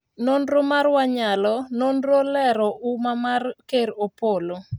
nonro mar wanyalo:nonro olero umma amar Ker Opollo ,